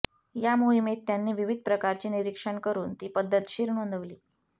या मोहिमेत त्यांनी विविध प्रकारची निरीक्षण करून ती पद्धतशीर नोंदवली